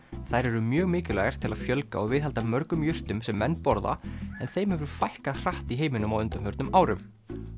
þær eru mjög mikilvægar til að fjölga og viðhalda mörgum jurtum sem menn borða en þeim hefur fækkað hratt í heiminum á undanförnum árum